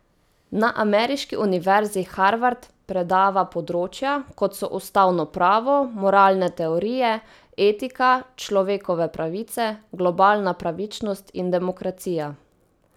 Na ameriški Univerzi Harvard predava področja, kot so ustavno pravo, moralne teorije, etika, človekove pravice, globalna pravičnost in demokracija.